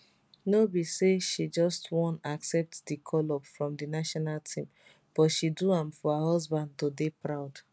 no be say she just wan accept di call up from di national team but she do am for her husband to dey proud